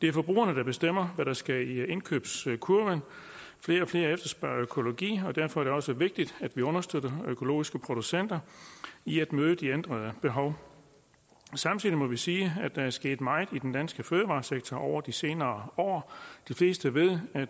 er forbrugerne der bestemmer hvad der skal i indkøbskurven flere og flere efterspørger økologi og derfor er det også vigtigt at vi understøtter økologiske producenter i at møde de ændrede behov samtidig må vi sige at der er sket meget i den danske fødevaresektor over de senere år de fleste ved at